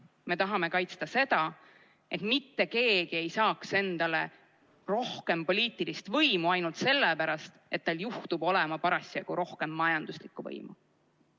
Me tahame kaitsta seda, et mitte keegi ei saaks endale rohkem poliitilist võimu ainult sellepärast, et tal juhtub olema parasjagu rohkem majanduslikku võimu.